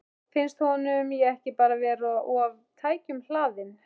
Finnst honum ég ekki bara vera of tækjum hlaðin?